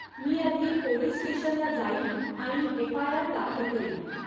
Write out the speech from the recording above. मी आधी पोलीस स्टेशनला जाईन आणि एफआयआर दाखल करीन.